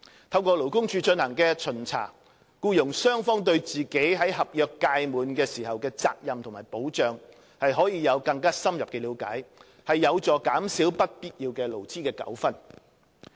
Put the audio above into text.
透過勞工處進行的巡查，僱傭雙方對自己在合約屆滿時的責任和保障可以有更深入的了解，有助減少不必要的勞資糾紛。